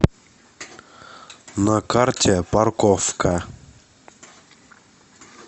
на карте паркофка